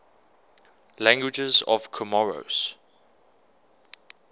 languages of comoros